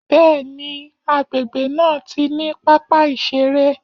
Bẹ́ẹ̀ni, agbègbè náà ti ní pápá ìṣeré.